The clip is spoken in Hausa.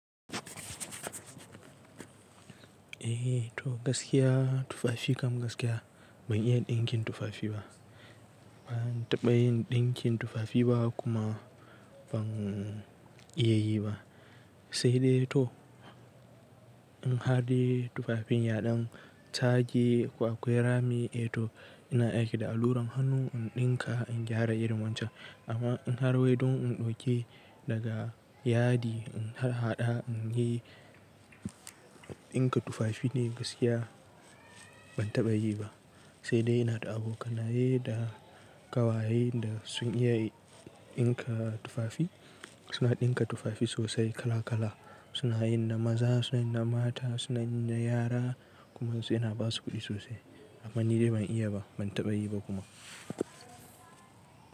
Eh to gaskiya tufafi kam gaskiya ban iya ɗinkin tufafi ba. Ban taɓa yin ɗinkin tufafi ba kuma ban iya yi ba. Sai dai to in har dai tufafin yaɗan sage ko akwai rami eh to ina aiki da alluran hannu in ɗinka in gyara irin wancan. Amma in harwe don in ɗauke daga yadi in haɗa in yi ɗinka tufafi ne gaskiya ban taɓa yi ba. Sai dai ina da abokanaye da ƙawaye da sun iya ɗinka tufafi. Suna ɗinka tufafi sosai kala kala suna yin na maza, suna yin na mata, suna yin na yara kuma suna basu kuɗi sosai. Amma ni dai ban iya ba ban taɓa yi ba kuma.